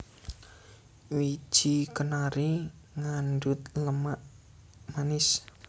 Wiji kenari ngandhut lemak manis